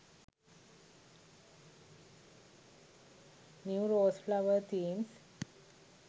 new rose flower themes